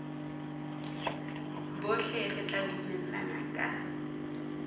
bohle re tla dumellana ka